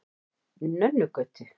Nönnugötu